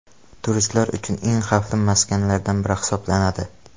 Turistlar uchun eng xavfli maskanlardan biri hisoblanadi.